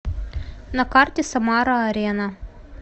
на карте самара арена